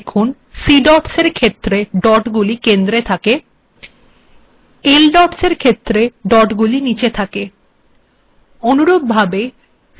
আউটপুটে দেখুন \cdotsএর েখত্ের ডট্গুিল েকন্দ্ের থােক \ldots এর েখত্ের ডট্গুিল িনেচ থােক